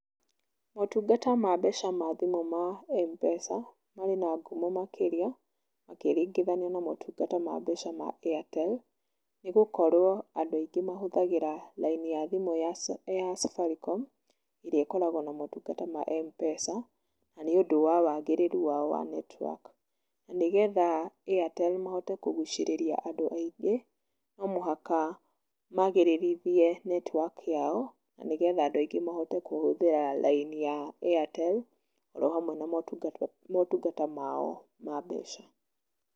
Motungata ma mbeca ma thimũ ma M-Pesa marĩ na ngumo makĩrĩa ũkĩringithania na motungata ma mbeca ma Airtel, nĩ gũkorwo andũ aingĩ mahũthĩraga rini ya thimũ ya Safaricom ĩrĩa ĩkoragwo na motungata ma M-Pesa nĩ ũndũ wa waagĩrĩru wao wa network. Nĩgetha Airtel mahote kũgucĩrĩria andũ aingĩ, no mũhaka magĩrĩrithie network yao nĩgetha andũ aingĩ mahote kũhũthĩra rini ya Airtel o hamwe na motungata mao ma mbeca.